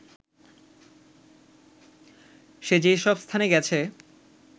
সে যেসব স্থানে গেছে